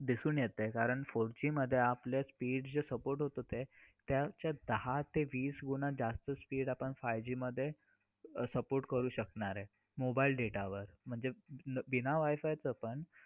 त्याला एकच कारण तिच्या मनात लहानापणापासून बिंबवले जाते की तू मुलगी आहेस बाहेर नको जाऊ जाऊ नकोस हे काम नको करूस.